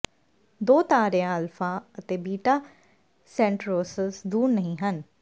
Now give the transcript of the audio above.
ਦੋ ਤਾਰਿਆਂ ਅਲਫਾ ਅਤੇ ਬੀਟਾ ਸੈਂਟਰੌਰਸ ਦੂਰ ਨਹੀਂ ਹਨ